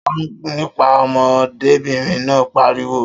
Ta á nípàá! Ọmọdébìnrin náà pariwo